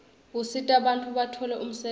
usita bantfu batfole umsebenti